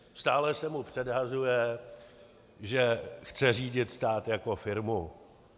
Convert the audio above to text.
Stále se mu předhazuje, že chce řídit stát jako firmu.